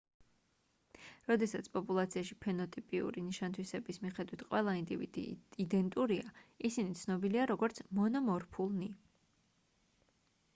როდესაც პოპულაციაში ფენოტიპიური ნიშან-თვისების მიხედვით ყველა ინდივიდი იდენტურია ისინი ცნობილია როგორც მონომორფულნი